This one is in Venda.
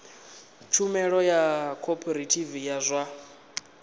tshumelo ya khophorethivi ya zwa